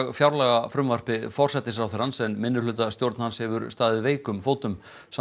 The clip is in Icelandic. fjárlagafrumvarpi forsætisráðherrans en minnihlutastjórn hans hefur staðið veikum fótum